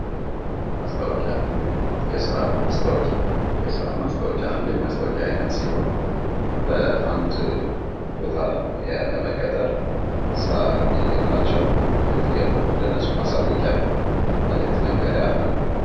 ማስታወቂያ የስራ ማስታወቂያ:- የስራ ማስታወቂያ አንድ የማስታወቂያ አይነት ሲሆን በአንድ ቦታ ለመቀጠር ስራ የሌላቸዉ እንዲገቡ ለእነሱ ማሳወቂያ መልዕክት መንገሪያ ነዉ።